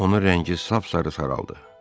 Onun rəngi sap-sarı saraldı.